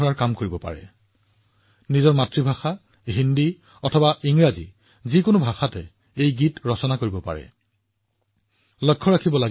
এই দেশপ্ৰেমমূলক গীতবোৰ মাতৃভাষাত ৰাষ্ট্ৰীয় ভাষাত হব পাৰে আৰু ইংৰাজীতো লিখিব পাৰি